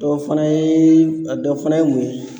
Dɔ fana ye a dɔ fana ye mun ye?